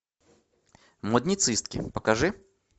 модницистки покажи